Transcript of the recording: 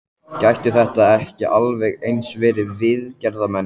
Gætu þetta ekki alveg eins verið viðgerðarmenn?